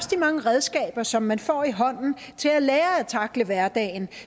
mange redskaber som man får i hånden til at lære at tackle hverdagen